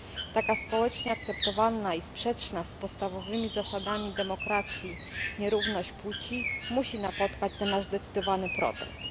Taka społecznie akceptowalna i sprzeczna z podstawowymi zasadami demokracji nierówność płci musi napotkać nasz zdecydowany protest.